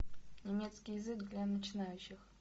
немецкий язык для начинающих